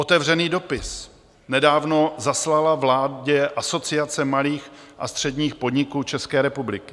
Otevřený dopis nedávno zaslala vládě Asociace malých a středních podniků České republiky.